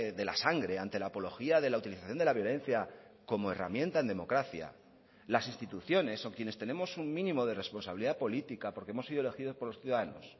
de la sangre ante la apología de la utilización de la violencia como herramienta en democracia las instituciones o quienes tenemos un mínimo de responsabilidad política porque hemos sido elegidos por los ciudadanos